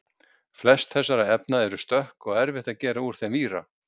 Flest þessara efna eru stökk og erfitt að gera úr þeim víra.